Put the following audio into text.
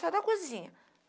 Só da cozinha.